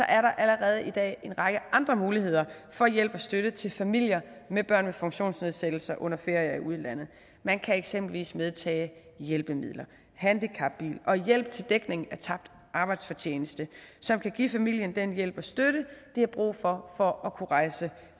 er der allerede i dag en række andre muligheder for hjælp og støtte til familier med børn med funktionsnedsættelser under ferie i udlandet man kan eksempelvis medtage hjælpemidler handicapbil og hjælp til dækning af tabt arbejdsfortjeneste som kan give familien den hjælp og støtte de har brug for for at kunne rejse